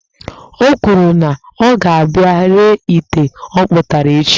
O kwuru na ọ ga-abia ree ite ọkpụtara echi